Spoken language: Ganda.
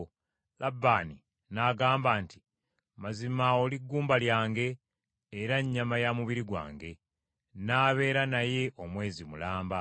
Labbaani n’agamba nti, “Mazima oli ggumba lyange, era nnyama ya mubiri gwange! N’abeera naye omwezi mulamba.”